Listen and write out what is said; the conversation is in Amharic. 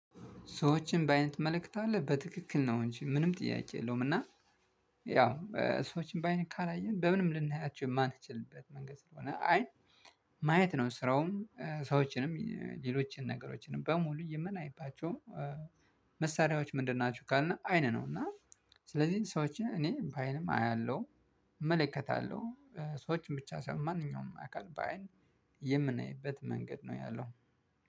ሰዎችን በአይን ትመለከታለህ? በትክክል ነው እንጂ ምንም ጥያቄ የለውም እና ያው ሰዎችን በአይን ካላየን በምንም ልናያቸው የማንችልበት መንገድ ስለሆነ አይን ማየት ነው ስራውም ሰዎችንም ሌሎችንም ነገሮችንም በሙሉ የምናይባቸው መሳሪያዎች ምንድን ናችሁ ካልነ አይነ ነው እና ስለዚህ ሰዎችን እኔ በአይንም አያለሁ እመለከታለሁ ሰዎችን ብቻ ሳይሆን ማንኛውንም አካል በአይን የምናይበት መንገድ ነው ያለው